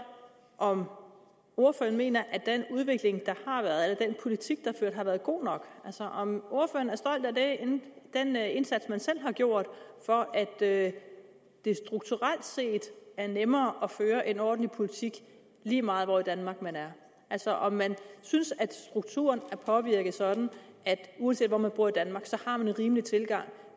om ordføreren mener at den udvikling der har været at den politik der ført har været god nok altså om ordføreren er stolt af den indsats man selv har gjort for at at det strukturelt set er nemmere at føre en ordentlig politik lige meget hvor i danmark man er altså om man synes at strukturen er påvirket sådan at uanset hvor man bor i danmark har man en rimelig tilgang